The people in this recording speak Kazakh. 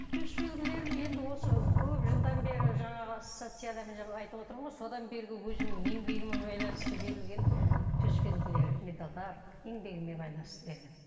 төс белгілерім енді осы көп жылдан бері жаңағы ассоцияциядан айтып отырмын ғой содан бергі өзімнің еңбегіме байланысты берілген төс белгілері медальдар еңбегіме байланысты берген